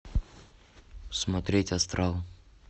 смотреть астрал